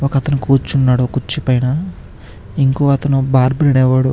ఒక అతను కూర్చున్నాడు కుర్చీ పైన ఇంకొక అతను బార్బర్ అనేవాడు --